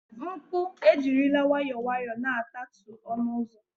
mkpu ejirila nwayọọ nwayọọ na-atatu ọnụ ụzọ